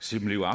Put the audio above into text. som lever